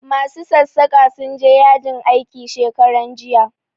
Ma su sassaƙa sun je yajin aiki shekaran jiya